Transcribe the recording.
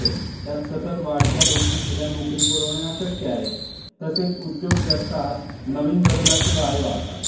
त्यात सतत वाढत्या लोकसंख्येला नोकरी पुरवणे अशक्य आहे. तसेच उद्योग जगतात नवीन बदलाचे वारे वाहतात.